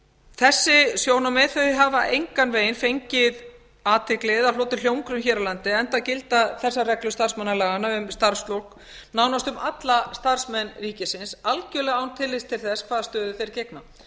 þessi sjónarmið hafa engan veginn fengið athygli eða hlotið hljómgrunn hér á landi enda gilda þessar reglur starfsmannalaga um starfslok nánast um alla starfsmenn ríkisins algjörlega án tillits til þess hvaða stöðu þeir gegna